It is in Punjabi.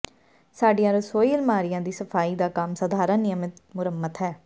ਸਾਡੀਆਂ ਰਸੋਈ ਅਲਮਾਰੀਆ ਦੀ ਸਫਾਈ ਦਾ ਕੰਮ ਸਾਧਾਰਣ ਨਿਯਮਤ ਮੁਰੰਮਤ ਹੈ